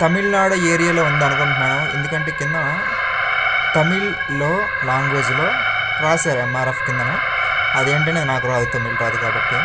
తమిళనాడు ఏరియాలో ఉంది అనుకుంటున్నా ను ఎందుకంటే కిందన తమిళ్ లో లాంగ్వేజ్ లో రాసారు ఎం. ఆర్. ఎఫ్. కిందన అదేంటి అనేది నాకు రాదు తమిళ్ రాదు కాబట్టి.